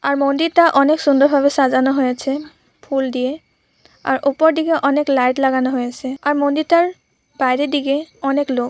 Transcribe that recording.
আর মন্দিরটা অনেক সুন্দর ভাবে সাজানো হয়েছে ফুল দিয়েআর উপর দিকে অনেক লাইট লাগানো হয়েছেআর মন্দিরটার বাইরে দিকে অনেক লোক--